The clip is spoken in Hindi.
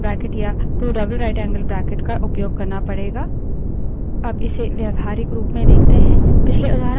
लेकिन error stream को redirect करने के लिए आपको 2> या 2>> का उपयोग करना पड़ेगा